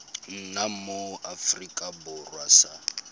nna mo aforika borwa sa